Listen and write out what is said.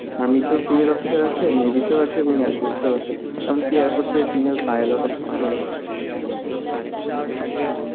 army তেও female officer আছে, navy তেও আছে এবং air force এও আছে এমন কি air force এ female pilot officer ও আছে